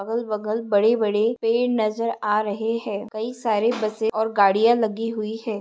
अगल बगल बड़े बड़े पेड़ नजर आ रहे है। कई सारे बसे और गाड़ियां लगी हुई है।